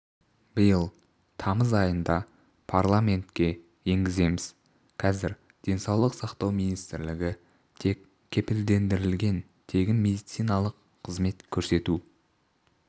биыл тамыз айында парламентке енгіземіз қазір денсаулық сақтау министрлігі тек кепілдендірілген тегін медициналық қызмет көрсету